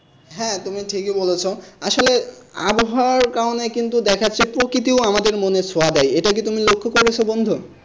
হ্যাঁ তুমি ঠিকই বলেছ আসলে আবহাওয়ার কারণে কিন্তু দেখাচ্ছে প্রকৃতিও আমাদের মনে সোয়াদ আয় এটা কি তুমি লক্ষ্য করেছো বন্ধু?